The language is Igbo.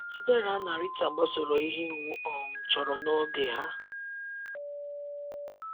Chidera na Rita gbasoro ihe iwu um chọrọ n’oge ha.